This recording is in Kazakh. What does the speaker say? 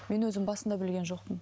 мен өзім басында білген жоқпын